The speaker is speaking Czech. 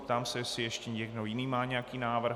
Ptám se, jestli ještě někdo jiný má nějaký návrh.